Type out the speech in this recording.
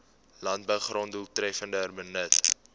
landbougrond doeltreffender benut